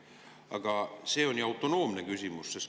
Aga see on ju autonoomne küsimus.